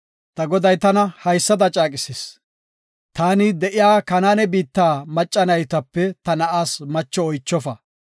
Ta goday tana haysada caaqisis, ‘Taani de7iya Kanaane biitta macca naytape ta na7aas macho oychofa.